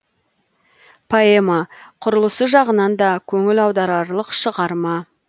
поэма құрылысы жағынан да көңіл аударарлық шығарма